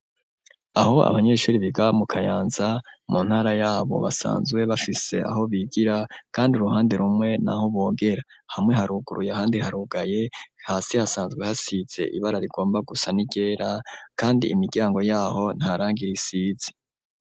Aho abanyeshure biga mu kayanza mu ntara yabo basanzwe bafise aho bigira kandi uruhande rumwe naho bogera hamwe haruguruye handi harugaye hasi hasanzwe hasize ibara rigomba gusa n'igera kandi imiryango yaho ntarangira isizi.